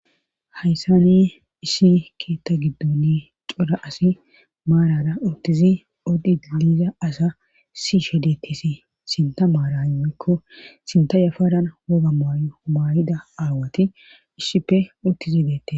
hayssani issi keetta gidduni cora asi maarara uttizi odhiiliza asa sishedetisi sinta maara immikko sinta yafaran woga maayo humaayida aawati issipe uttizi deettes